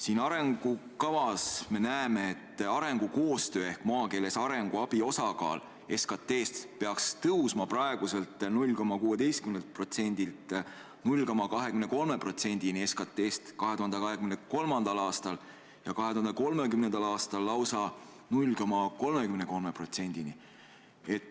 Siin arengukavas on öeldud, et arengukoostöö ehk maakeeles arenguabi osakaal SKT-st peaks tõusma praeguselt 0,16%-lt 0,23%-ni SKT-st 2023. aastal ja 2030. aastal lausa 0,33%-ni.